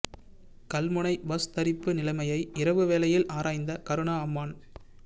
Kalmunai bus தரிப்பு நிலைமையை இரவு வேளையில் ஆராய்ந்த கருணா அம்மான்